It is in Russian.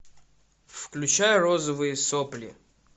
включай розовые сопли